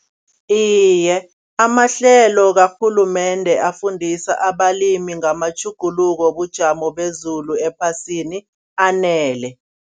Iye amahlelo karhulumende afundisa abalimi ngamatjhuguluko wobujamo bezulu ephasini anele.